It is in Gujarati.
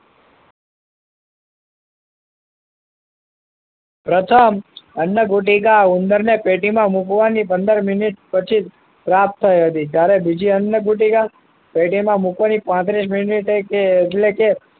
પ્રથમ અન્ન ગુટિકા ઉંદર ને ને પેટી માં મુકવા ની પંદર મિનીટ પછી જ પ્રાપ્ત થાય છે જ્યારે બીજી અન્ન ગુટિકા પેટી માં મુકવા ની પાંત્રીસ મીનીટે કે એટલે કે